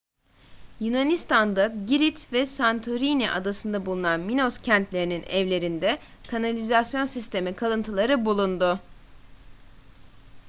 yunanistan'da girit ve santorini adasında bulunan minos kentlerinin evlerinde kanalizasyon sistemi kalıntıları bulundu